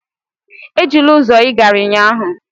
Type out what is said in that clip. Ejila ụzọ ị gara ụnyaahụ!